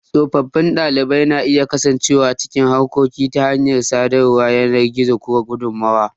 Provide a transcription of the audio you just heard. Tsofaffin ɗalibai na iya kasancewa cikin harkoki ta hanyar sadarwar yanar gizo ko gudummawa.